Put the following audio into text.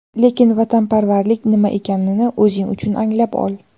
Lekin vatanparvarlik nima ekanini o‘zing uchun anglab ol.